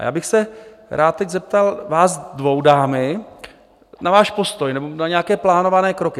A já bych se rád teď zeptal vás dvou, dámy, na váš postoj nebo na nějaké plánované kroky.